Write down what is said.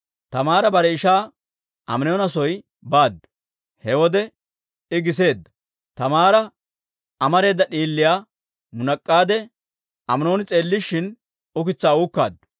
Taamaara bare ishaa Aminoona soo baaddu; he wode I giseedda. Taamaara amareeda d'iiliyaa munak'aade, Aminooni s'eellishin ukitsaa uukkaaddu.